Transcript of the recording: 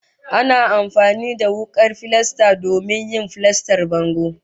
Ana amfani da wukar filasta domin yin filastar bango